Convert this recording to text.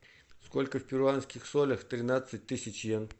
сколько в перуанских солях тринадцать тысяч иен